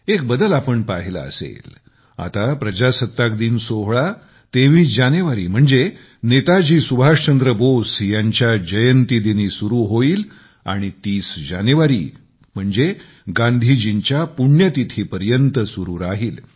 एक बदल आपणपाहिला असेल आता प्रजासत्ताक दिन सोहळा 23 जानेवारी म्हणजे नेताजी सुभाष चंद्र बोस यांच्या जयंती दिनी सुरु होईल आणि 30 जानेवारी पर्यंत म्हणजे गांधीजींच्या पुण्यतिथीपर्यंत सुरु राहील